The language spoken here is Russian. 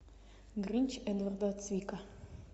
гринч эдварда цвика